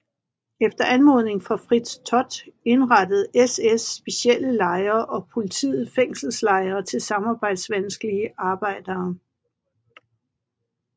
Efter anmodning fra Fritz Todt indrettede SS specielle lejre og politiet fængselslejre til samarbejdsvanskelige arbejdere